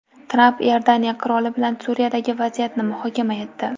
Tramp Iordaniya qiroli bilan Suriyadagi vaziyatni muhokama etdi.